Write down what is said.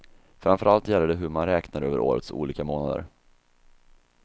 Framför allt gäller det hur man räknar över årets olika månader.